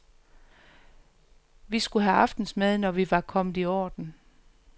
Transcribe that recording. Vi skulle have aftensmad, når vi var kommet i orden.